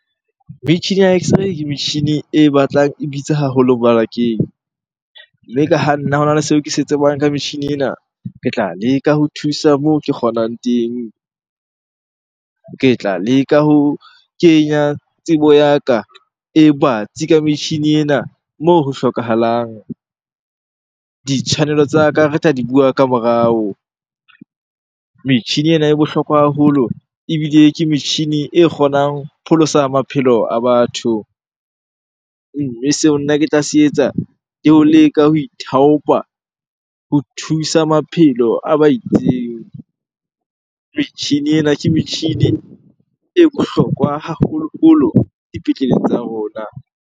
Metjhini ya x-ray ke metjhini e batlang e bitsa haholo mmarakeng. Mme ka ha nna hona le seo ke se tsebang ka metjhini ena, ke tla leka ho thusa moo ke kgonang teng. Ke tla leka ho kenya tsebo ya ka e batsi ka metjhini ena moo ho hlokahalang. Ditshwanelo tsa ka re tla di bua ka morao. Metjhini ena e bohlokwa haholo ebile ke metjhini e kgonang pholosa maphelo a batho. Mme seo nna ke tla se etsa ke ho leka ho ithaopa ho thusa maphelo a ba itseng. Metjhini ena ke metjhini e bohlokwa haholoholo dipetlele tsa rona.